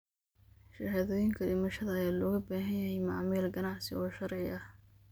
Shahaadooyinka dhimashada ayaa looga baahan yahay macaamil ganacsi oo sharci ah.